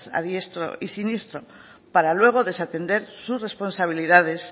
a diestro y siniestro para luego desatender sus responsabilidades